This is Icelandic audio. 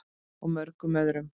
Og mörgum öðrum.